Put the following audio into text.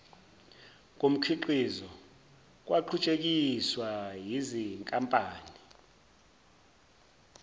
komkhiqizo kwaqhutshekiswa yizinkampani